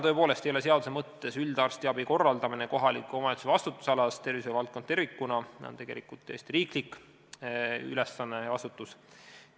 " Tõepoolest, seaduse mõttes ei ole üldarstiabi korraldamine kohaliku omavalitsuse vastutusalas, tervishoiuvaldkond tervikuna on tegelikult täiesti riiklik ülesanne ja vastutus.